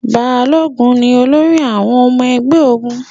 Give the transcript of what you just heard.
Balógun ni olórí àwọn ọmọ ogun.